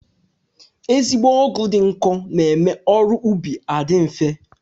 Ezigbo ọgụ dị nkọ na-eme ọrụ ubi adị nfe